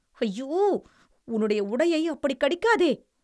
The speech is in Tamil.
அய்யோ, உன்னுடைய உடையை அப்படிக் கடிக்காதே.